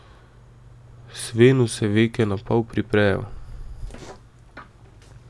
Svenu se veke napol priprejo.